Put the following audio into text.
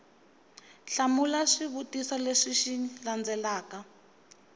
hlamula swivutiso leswi xi landzelaka